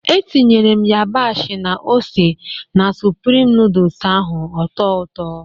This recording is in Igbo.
Etinyere m yabasị na ose na Sụprịm nooduls ahụ ọ tọọ ụtọ